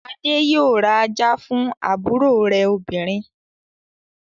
Adé yóò ra ajá fún àbúrò rẹ̀ obìnrin.